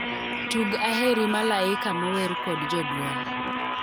Tug aheri malaika mower kod joduol